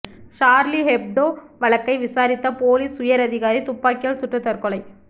Charlie Hebdo வழக்கை விசாரித்த police உயர் அதிகாரி துப்பாக்கியால் சுட்டு தற்கொலை